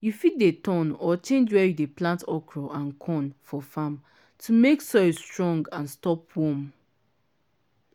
you fit dey turn or change where u dey plant okra and corn for farm to make soil strong and stop worm.